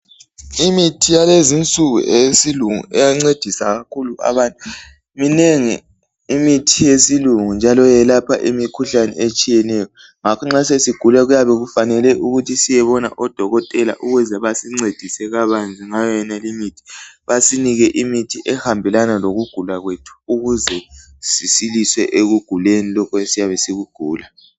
Imithi yalezi insuku eyesilungu iyancedisa kakhulu abantu, minengi imithi eyesilungu eyelapha njalo yelapha imikhuhlane etshiyeneyo ngakho nxa sesigula kumele siyebona odokotela odokotela basincedise kabanzi ngayo le imithi, basinike imithi ehambelana lokugula kwethu.